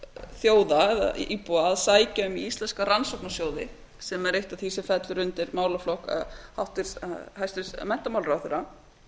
þjóða eða íbúa að sækja um íslenska rannsóknarsjóði sem er eitt af því sem fellur undi málaflokk hæstvirtur menntamálaráðherra